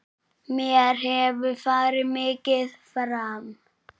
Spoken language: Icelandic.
Mér hefur farið mikið fram.